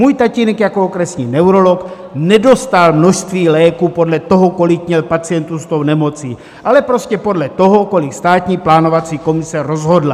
Můj tatínek jako okresní neurolog nedostal množství léků podle toho, kolik měl pacientů s tou nemocí, ale prostě podle toho, kolik Státní plánovací komise rozhodla.